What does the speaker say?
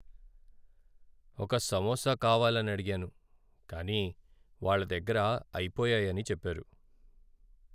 ఒక సమోసా కావాలనడిగాను, కానీ వాళ్ళ దగ్గర అయిపోయాయని చెప్పారు.